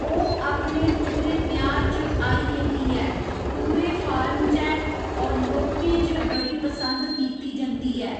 ओ्ह् अपने पूरे मयार च आई ए दी ऐ पूरे फार्म च ऐ होर लोकें च बड़ी पसंद कीती जंदी ऐ